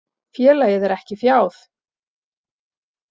Félagið er ekki fjáð.